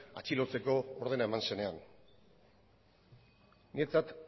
atxilotzeko ordena eman zenean niretzat